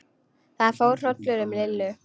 Það fór hrollur um Lillu.